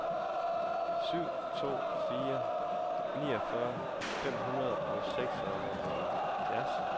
syv to fire fire niogfyrre fem hundrede og seksoghalvfjerds